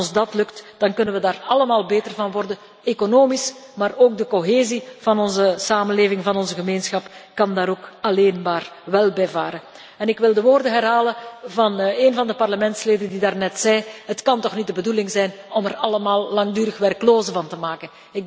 En als ons dat lukt, dan kunnen we daar allemaal beter van worden economisch, maar ook de cohesie van onze samenleving kan daar alleen maar wel bij varen. Ik wil de woorden herhalen van een van de parlementsleden die daarnet zei Het kan toch niet de bedoeling zijn om er allemaal langdurig werklozen van te maken.